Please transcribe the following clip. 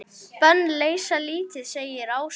Bönn leysa lítið, segir Áslaug.